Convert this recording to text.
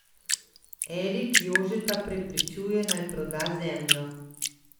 Erik Jožeta prepričuje, naj proda zemljo.